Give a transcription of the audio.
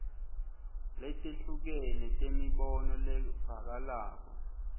letehlukene temibono levakalako